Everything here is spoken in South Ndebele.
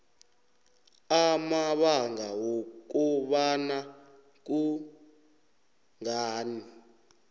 amabanga wokobana kungani